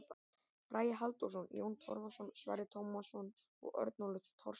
Bragi Halldórsson, Jón Torfason, Sverrir Tómasson og Örnólfur Thorsson.